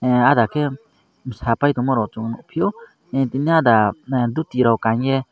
aada ke sa pai tongma ke chung nugfio tgini aada duti rok kanei.